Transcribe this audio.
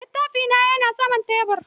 Littafi na yana saman tebur.